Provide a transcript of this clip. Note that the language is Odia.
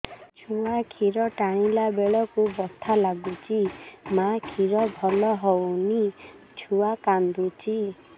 ଛୁଆ ଖିର ଟାଣିଲା ବେଳକୁ ବଥା ଲାଗୁଚି ମା ଖିର ଭଲ ହଉନି ଛୁଆ କାନ୍ଦୁଚି